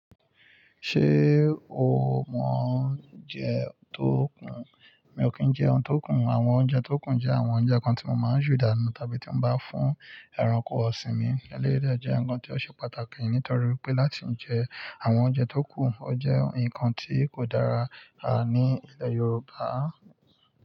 Ṣé o mọ oúnjẹ tó kún? Mi ò kí ń jẹ oun tí ó kún. Àwọn oúnjẹ tó kún jẹ́ àwọn oúnjẹ kan tí mo máa ń ju danu tàbí tí mo bá fún ẹranko ọ̀sìn mi. Eléyii de jẹ́ ǹkan tí ó ṣe pàtàkì nítorí pé láti ń jẹ àwọn oúnjẹ tó kù, ó jẹ́ ǹkan tí kò dára ní ilẹ̀ Yorùbá.